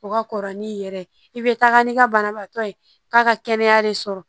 O ka kɔrɔ ni'i yɛrɛ ye i bɛ taga ni ka banabaatɔ ye k'a ka kɛnɛya de sɔrɔ